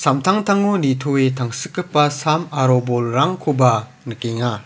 nitoe tangsikgipa sam aro bolrangkoba nikenga.